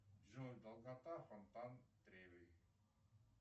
джой долгота фонтан треви